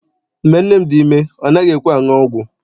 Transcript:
Mgbe nne m dị ime, ọ naghị ekwe anụ ọgwụ.